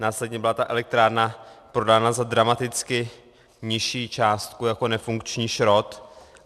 Následně byla ta elektrárna prodána za dramaticky nižší částku jako nefunkční šrot.